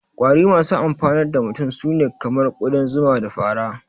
Ƙwari masu amfanar da mutum su ne kamar ƙudan zuman, da fara